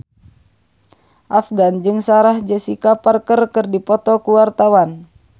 Afgan jeung Sarah Jessica Parker keur dipoto ku wartawan